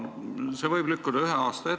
See võib ühe aasta võrra lükkuda.